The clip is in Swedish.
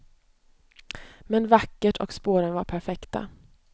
Men vackert och spåren var perfekta.